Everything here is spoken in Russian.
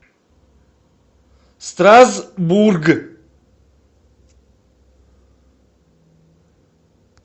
страсбург